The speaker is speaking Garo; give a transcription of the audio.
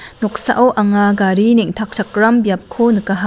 noksao anga gari neng·takchakram biapko nikaha.